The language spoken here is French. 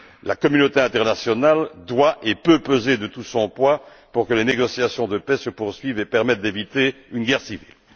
La communauté internationale doit et peut peser de tout son poids pour que les négociations de paix se poursuivent et permettent d'éviter une guerre civile.